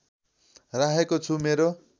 राखेको छु मेरो